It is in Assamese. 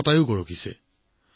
তাই শতায়ু গৰকিছে